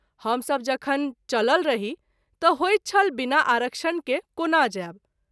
हम सभ जखन चलल रही त’ होइत छल बिना आरक्षण के कोना जायब।